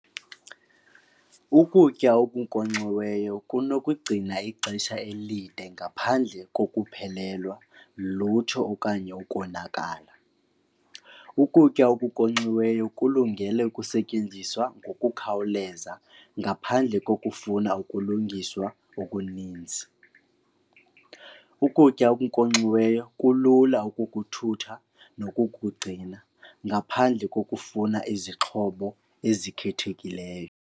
Ukutya okunkonkxiweyo kunokugcina ixesha elide ngaphandle kokuphelelwa lutho okanye ukonakala. Ukutya okunkonkxiweyo kulungele ukusetyenziswa ngokukhawuleza ngaphandle kokufuna ukulungiswa okuninzi. Ukutya okunkonkxiweyo kulula ukukuthutha nokukugcina ngaphandle kokufuna izixhobo ezikhethekileyo.